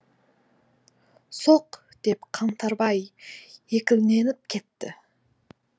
соқ деп қаңтарбай екіленіп кетті